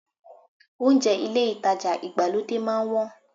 Ohunjẹ́ ilé ìtajà ìgbàlódé máa ń wọ́n